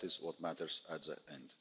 That is what matters in